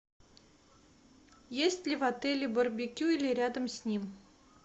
есть ли в отеле барбекю или рядом с ним